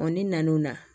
ni nan'o na